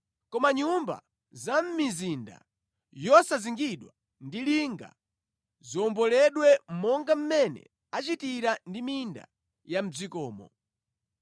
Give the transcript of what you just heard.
Koma nyumba za mʼmizinda yosazingidwa ndi linga ziwomboledwe monga mmene achitira ndi minda ya mʼdzikomo.